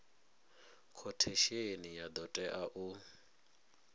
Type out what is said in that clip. khothesheni ya do tea u